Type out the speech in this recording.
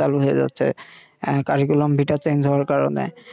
চালু হয়ে যাচ্ছে হওয়ার কারণে